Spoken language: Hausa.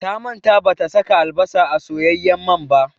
Ta manta bata saka albasa a soyayyen man ba